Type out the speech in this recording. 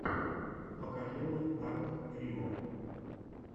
покажи мне арт рио